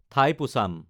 ঠাইপোচাম